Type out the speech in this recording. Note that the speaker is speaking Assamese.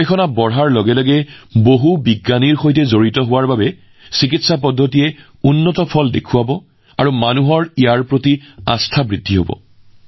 গৱেষণা বৃদ্ধিৰ লগে লগে আৰু বহু বিজ্ঞানীয়ে একত্ৰিত হোৱাৰ লগে লগে এই চিকিৎসা ব্যৱস্থাসমূহে উন্নত ফলাফল দিব আৰু ইয়াৰ প্ৰতি মানুহৰ প্ৰৱণতা বৃদ্ধি পাব